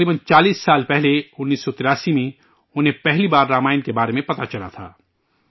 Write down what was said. تقریباً چالیس سال پہلے 1983 میں ، انہیں، پہلی بار رامائن کے بارے میں پتہ چلاتھا